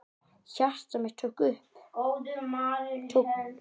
Hjarta mitt tók kipp.